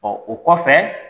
Ɔ o kɔfɛ